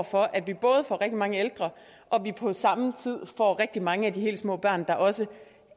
for at vi både får rigtig mange ældre og at vi på samme tid får rigtig mange af de helt små børn der også